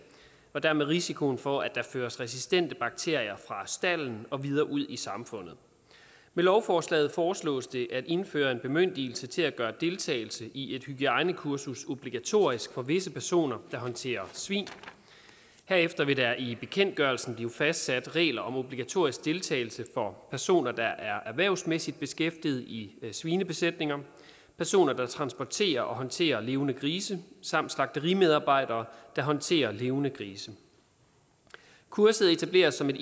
og dermed risikoen for at der føres resistente bakterier fra staldene og videre ud i samfundet med lovforslaget foreslås det at indføre en bemyndigelse til at gøre deltagelse i et hygiejnekursus obligatorisk for visse personer der håndterer svin herefter vil der i bekendtgørelsen blive fastsat regler om obligatorisk deltagelse for personer der er erhvervsmæssigt beskæftiget i svinebesætninger personer der transporterer og håndterer levende grise samt slagterimedarbejdere der håndterer levende grise kurset etableres som